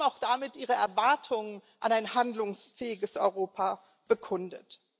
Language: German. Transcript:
Aber sie haben auch damit ihre Erwartungen an ein handlungsfähiges Europa bekundet.